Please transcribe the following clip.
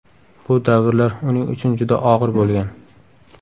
Bu davrlar uning uchun juda og‘ir bo‘lgan.